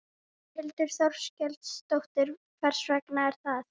Þórhildur Þorkelsdóttir: Hvers vegna er það?